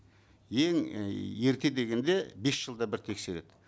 ең і ерте дегенде бес жылда бір тексереді